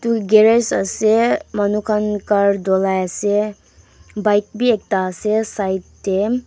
edu garage ase manu khan car dhulai ase bike bi ekta ase side tae.